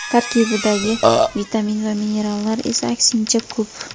Tarkibidagi vitamin va minerallar esa, aksincha, ko‘p.